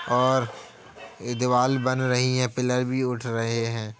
और यह दीवाल बन रही है। पिलर भी उठ रहे हैं।